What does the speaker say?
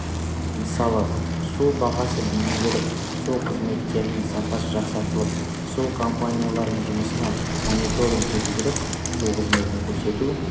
мысалы су бағасы бейімделіп су қызметтерінің сапасы жақсартылып су компанияларының жұмысына мониторинг жүргізіліп су қызметін көрсету